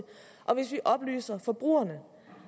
og hvis vi oplyser forbrugerne